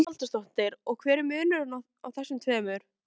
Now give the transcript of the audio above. Hugrún Halldórsdóttir: Og hver er munurinn á þessum tveimur?